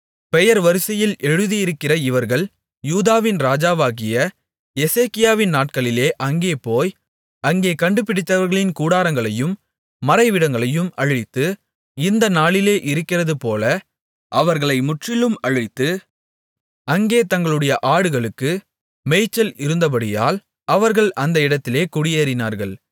பெயர் வரிசையில் எழுதியிருக்கிற இவர்கள் யூதாவின் ராஜாவாகிய எசேக்கியாவின் நாட்களிலே அங்கே போய் அங்கே கண்டுபிடித்தவர்களின் கூடாரங்களையும் மறைவிடங்களையும் அழித்து இந்த நாளிலே இருக்கிறதுபோல அவர்களை முற்றிலும் அழித்து அங்கே தங்களுடைய ஆடுகளுக்கு மேய்ச்சல் இருந்தபடியால் அவர்கள் அந்த இடத்திலே குடியேறினார்கள்